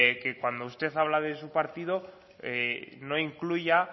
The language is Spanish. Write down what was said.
que cuando usted habla de su partido no incluya